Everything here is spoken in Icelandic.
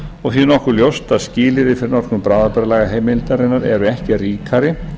og því nokkuð ljóst að skilyrði fyrir notkun bráðabirgðalagaheimildarinnar eru ekki ríkari